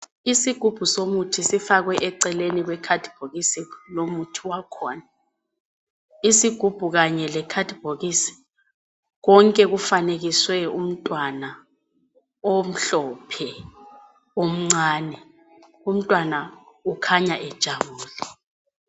Isigubhu somuthi sifakwe eceleni kwe khadibokisi womuthi wakhona. Isigubhu kanye le khadibokisi konke kufanekiswe umntwana omhlophe omncane, umntwana ukhanya ejabulile.